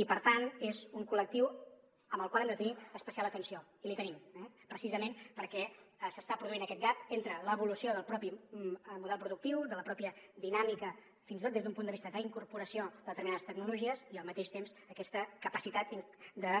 i per tant és un col·lectiu amb el qual hem de tenir especial atenció i l’hi tenim eh precisament perquè s’està produint aquest gap entre l’evolució del propi model productiu de la pròpia dinàmica fins i tot des d’un punt de vista d’incorporació de determinades tecnologies i al mateix temps aquesta capacitat de